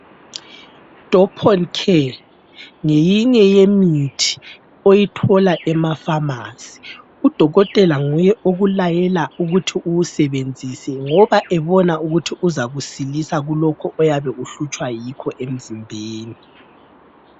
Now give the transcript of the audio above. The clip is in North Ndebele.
Doponcare ngeyinye yemithi oyithola emapharmacy. Udokotela nguye okulayela ukuthi uwusebenzise ngoba ebona ukuthi kuzakusilisa kulokho oyabe uhlutshwa yikho emzimbeni.